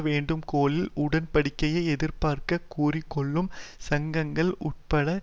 வேண்டுகோளில் உடன்படிக்கையை எதிர்ப்பதாக கூறிக்கொள்ளும் சங்கங்கள் உட்பட